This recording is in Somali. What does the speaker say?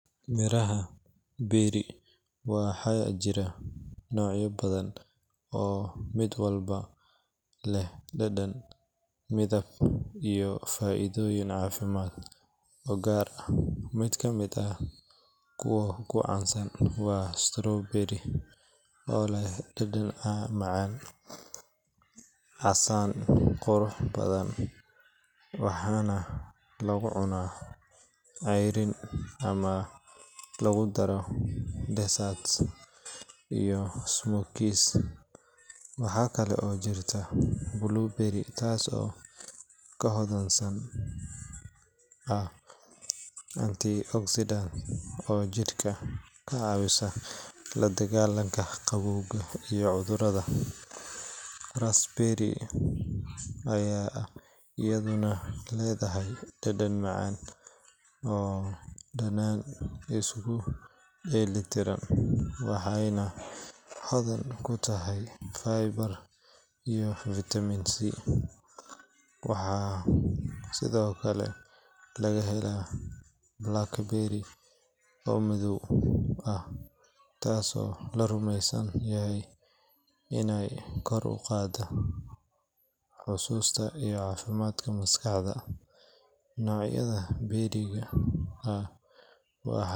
Miraha berry waxaa jira noocyo badan oo mid walba leh dhadhan, midab iyo faa’iidooyin caafimaad oo gaar ah. Mid ka mid ah kuwa ugu caansan waa strawberry oo leh dhadhan macaan, casaan qurux badan, waxaana lagu cunaa ceyriin ama lagu daro desserts iyo smoothies. Waxaa kale oo jirta blueberry taas oo ka hodansan ah antioxidants oo jidhka ka caawiya la dagaalanka gabowga iyo cudurrada. Raspberry ayaa iyaduna leedahay dhadhan macaan oo dhanaan isku dheelli tiran, waxayna hodan ku tahay fiber iyo fitamiin C. Waxaa sidoo kale laga helaa blackberry oo madow ah, taasoo la rumeysan yahay inay kor u qaaddo xusuusta iyo caafimaadka maskaxda. Noocyadan berry-ga ah waxaa.